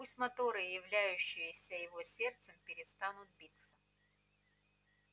пусть моторы являющиеся его сердцем перестанут биться